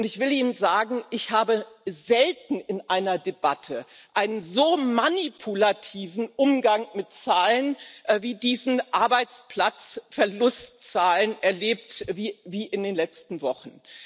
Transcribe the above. Und ich will Ihnen sagen Ich habe selten in einer Debatte einen so manipulativen Umgang mit Zahlen wie diesen Arbeitsplatzverlustzahlen erlebt wie in den letzten Wochen.